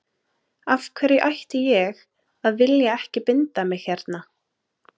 Af hverju ætti ég að vilja ekki binda mig hérna.